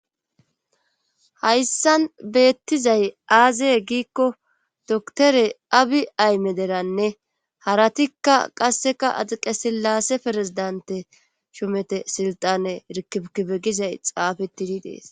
Hayssan beettizay aazee giikko doktore abi ayme deranne haratikka qasseka axiqe sillasse ferezidante shumete silxane irkikibe gizay xaafetidi dees